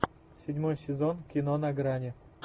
седьмой сезон кино на грани